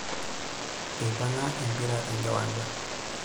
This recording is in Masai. Eipang'a empira tenkiwanja.